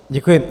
Děkuji.